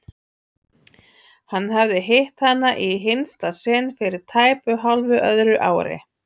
Hann hafði hitt hana í hinsta sinn fyrir tæpu hálfu öðru ári.